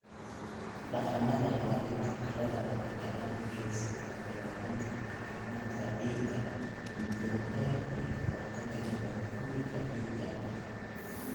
Dhaqannada ilaalinta carrada waxay gacan ka geystaan ilaalinta caafimaadka ciidda muddada dheer iyo ka hortagga nabaad-guurka ciidda.